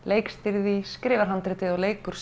leikstýrir því skrifar handritið og leikur